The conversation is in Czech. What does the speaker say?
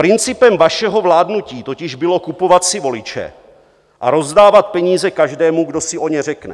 Principem vašeho vládnutí totiž bylo kupovat si voliče a rozdávat peníze každému, kdo si o ně řekne.